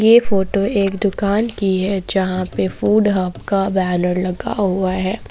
ये फोटो एक दुकान की है जहां पे फूड हब का बैनर लगा हुआ है।